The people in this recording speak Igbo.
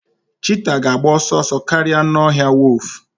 cheetah ga-agba ọsọ ọsọ karịa anụ ọhịa wolf